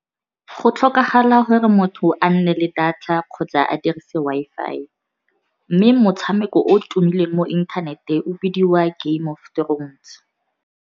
Go tlhokagala gore motho a nne le data kgotsa a dirise Wi-Fi, mme motshameko o tumileng mo inthanete o bidiwa Game of Thrones.